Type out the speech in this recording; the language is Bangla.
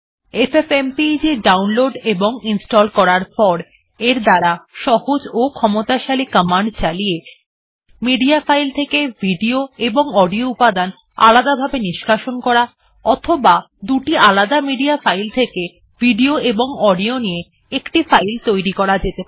এফএফএমপেগ ডাউনলোড এবং ইনস্টল করার পর এর দ্বারা সহজ ও ক্ষমতাশালী কমান্ড চালিয়ে মিডিয়া ফাইল থেকে ভিডিও এবং অডিও উপাদান আলাদাভাবে নিষ্কাশন করা অথবা দুটি আলাদা মিডিয়া ফাইল থেকে ভিডিও এবং অডিও নিয়ে একটি ফাইল তৈরী করা যেতে পারে